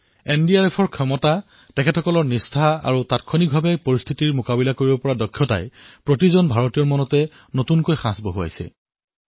এনডিআৰএফৰ ক্ষমতা হল তেওঁলোকৰ প্ৰতিশ্ৰুতি আৰু তাৎক্ষণিক নিৰ্ণয়ৰ দ্বাৰা পৰিস্থিতি চম্ভালি লোৱাৰ প্ৰয়াস সকলো ভাৰতীয়ৰ বাবে এক শ্ৰদ্ধাৰ নতুন বিন্দু হিচাপে বিবেচিত হৈছে